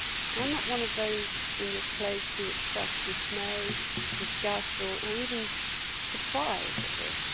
I am not one of those in this place who express dismay, disgust or even surprise at this.